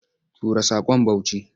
Tura saƙon Bauchi!